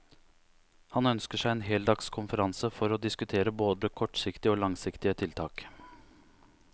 Han ønsker seg en heldags konferanse for å diskutere både kortsiktige og langsiktige tiltak.